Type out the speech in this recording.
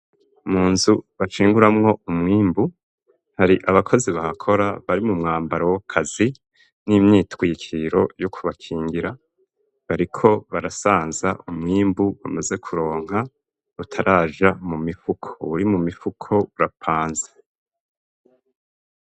Mu nzu bacimburamwo umwimbu hari abakozi bahakora bari mu mwambaro w'akazi n'imyitwikiro yo kubakingira bariko barasanza umwimbu bamaze kuronka utaraja mu mifuko, uwuri mu mifuko urapanze.